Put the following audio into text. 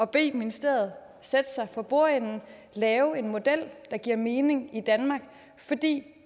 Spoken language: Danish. bede ministeriet sætte sig for bordenden og lave en model der giver mening i danmark fordi det